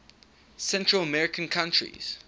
central american countries